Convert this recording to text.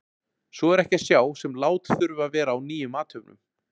Svo er ekki að sjá sem lát þurfi að vera á nýjum athöfnum.